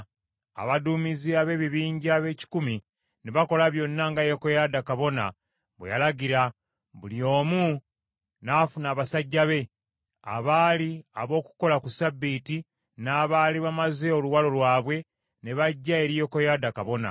Abaduumizi ab’ebibinja b’ekikumi ne bakola byonna nga Yekoyaada kabona bwe yalagira, buli omu n’afuna abasajja be, abaali ab’okukola ku ssabbiiti, n’abaali bamaze oluwalo lwabwe, ne bajja eri Yekoyaada kabona.